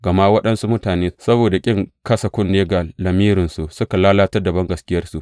Gama waɗansu mutane, saboda ƙin kasa kunne ga lamirinsu, suka lalatar da bangaskiyarsu.